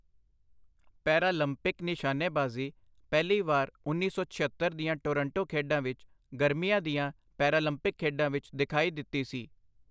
Paralympic ਨਿਸ਼ਾਨੇਬਾਜ਼ੀ ਪਹਿਲੀ ਵਾਰ ਉੱਨੀ ਸੌ ਛਿਅੱਤਰ ਦੀਆਂ ਟੋਰਾਂਟੋ ਖੇਡਾਂ ਵਿੱਚ ਗਰਮੀਆਂ ਦੀਆਂ ਪੈਰਾਲੰਪਿਕ ਖੇਡਾਂ ਵਿੱਚ ਦਿਖਾਈ ਦਿੱਤੀ ਸੀ।